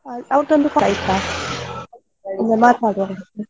ಆಯ್ತು ಮಾತನಾಡುವ ಹಾಗಾದ್ರೆ.